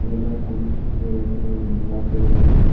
এটা খুবই সুন্দর এখানে রাত্রিবেলা--